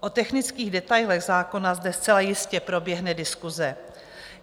O technických detailech zákona zde zcela jistě proběhne diskuse.